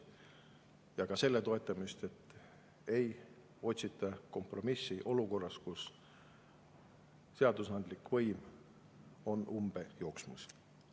Ja ka selle toetamist, et ei otsita kompromissi olukorras, kus seadusandlik võim on umbe jooksmas.